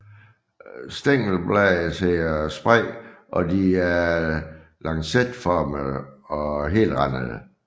Stængelbladene sidder spredt og de er lancetformede og helrandede